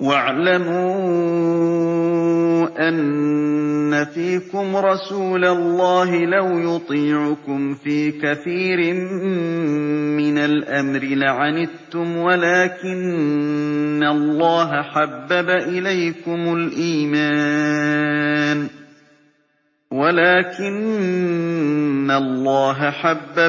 وَاعْلَمُوا أَنَّ فِيكُمْ رَسُولَ اللَّهِ ۚ لَوْ يُطِيعُكُمْ فِي كَثِيرٍ مِّنَ الْأَمْرِ لَعَنِتُّمْ وَلَٰكِنَّ اللَّهَ حَبَّبَ